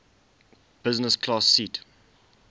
business class seat